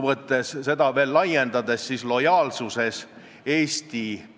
15. oktoobril oli komisjon kohal täies koosseisus, ainult et Jaanus Marrandi osales Heljo Pikhofi asendusliikmena.